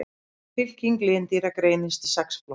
Fylking lindýra greinist í sex flokka.